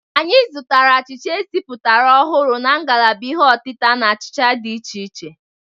Anyị zụtara achicha esipụtara ọhụrụ na ngalaba ihe ọtita na achịcha dị iche iche.